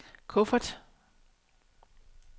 kuffert